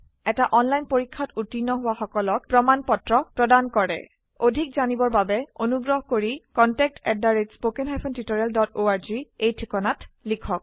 এটা অনলাইন পৰীক্ষাত উত্তীৰ্ণ হোৱা সকলক প্ৰমাণ পত্ৰ প্ৰদান কৰে অধিক জানিবৰ বাবে অনুগ্ৰহ কৰি contactspoken tutorialorg এই ঠিকনাত লিখক